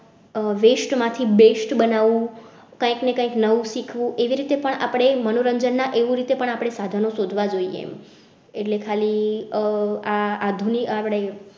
Waste માંથી best બનાવ વું કઈક ને કઈક નવું શીખવું એવી રીતે પણ આપણે મનોરંજન ના એવું રીતે પણ આપણે સાધનો શોધવા જોઈએ એટલે ખાલી આહ આ આધુનિક આપણે